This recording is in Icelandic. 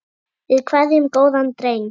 Við kveðjum góðan dreng.